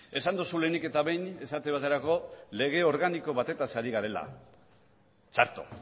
esan duzu lehenik eta behin esate baterako lege organiko batetaz ari garela txarto